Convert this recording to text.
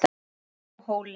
á Háhóli.